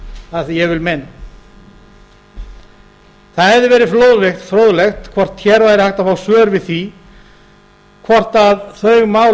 að því ég vil meina það hefði verið fróðlegt hvort hér væri hægt að fá svör við því hvort þau mál